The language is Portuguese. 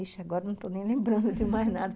Ixi, agora não estou nem lembrando de mais nada.